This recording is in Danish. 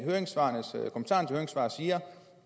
høringssvarene siger